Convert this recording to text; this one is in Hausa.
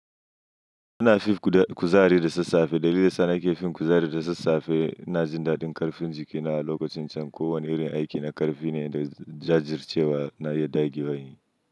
Ina fif kuzari da sassafe. Dalilin da suna ke fin kuzari da sassafe, ina jin daɗin ƙarfin jikina lokacin can. Ko wane irin aiki na ƙarfi ne da jajircewa na iya ɗage wahali.